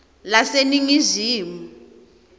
laseningizimu